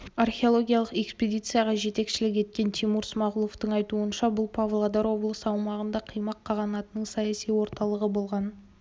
археологиялық экспедицияға жетекшілік еткен тимур смағұловтың айтуынша бұл павлодар облысы аумағында қимақ қағанатының саяси орталығы болғанын